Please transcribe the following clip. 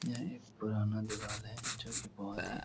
यह एक पुराना दीवाल है जो कि बोहोत ही --